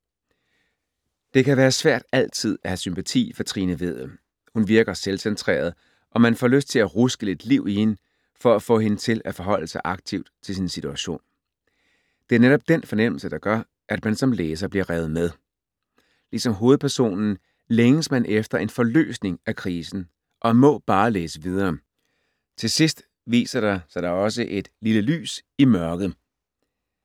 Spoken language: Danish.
Det kan være svært altid at have sympati for Trine Vedel. Hun virker selvcentreret og man får lyst til at ruske lidt liv i hende for at få hende til at forholde sig aktivt til sin situation. Det er netop den fornemmelse, der gør, at man som læser bliver revet med. Ligesom hovedpersonen længes man efter en forløsning af krisen og må bare læse videre. Til sidst viser der sig da også et lille lys i mørket.